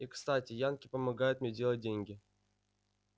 и кстати янки помогают мне делать деньги